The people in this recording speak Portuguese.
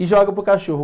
E joga para o cachorro.